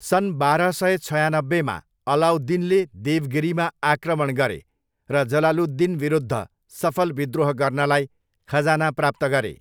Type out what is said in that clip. सन् बाह्र सय छयानब्बेमा, अलाउद्दिनले देवगिरीमा आक्रमण गरे, र जलालुद्दिनविरुद्ध सफल विद्रोह गर्नलाई खजाना प्राप्त गरे।